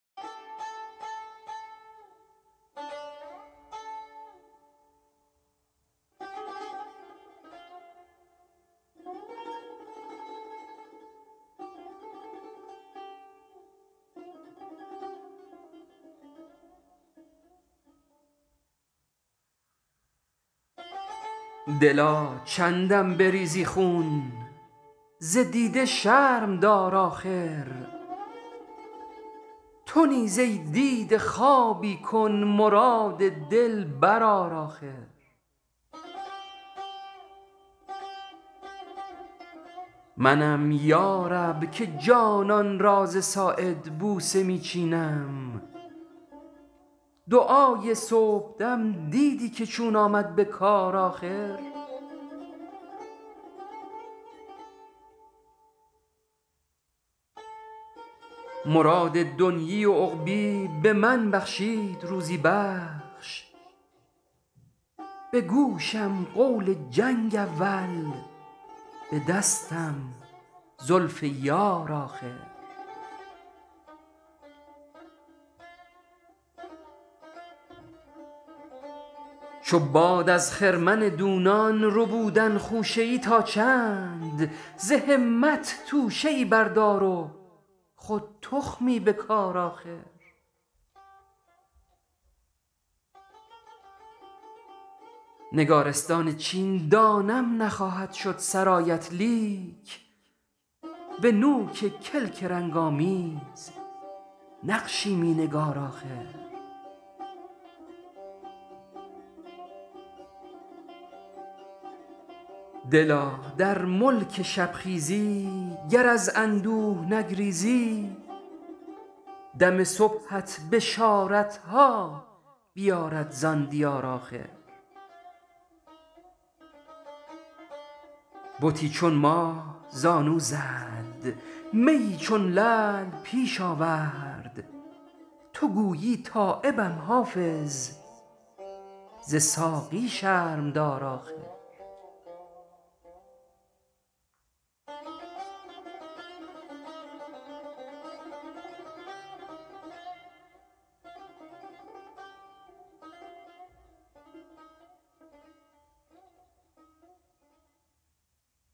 دلا چندم بریزی خون ز دیده شرم دار آخر تو نیز ای دیده خوابی کن مراد دل بر آر آخر منم یا رب که جانان را ز ساعد بوسه می چینم دعای صبحدم دیدی که چون آمد به کار آخر مراد دنییٖ و عقبیٖ به من بخشید روزی بخش به گوشم قول چنگ اولی به دستم زلف یار آخر چو باد از خرمن دونان ربودن خوشه ای تا چند ز همت توشه ای بردار و خود تخمی بکار آخر نگارستان چین دانم نخواهد شد سرایت لیک به نوک کلک رنگ آمیز نقشی می نگار آخر دلا در ملک شبخیزی گر از اندوه نگریزی دم صبحت بشارتها بیارد ز آن دیار آخر بتی چون ماه زانو زد میی چون لعل پیش آورد تو گویی تایبم حافظ ز ساقی شرم دار آخر